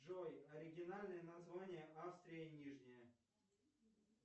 джой оригинальное название австрия нижняя